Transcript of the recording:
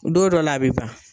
Don dɔ la a bi ban.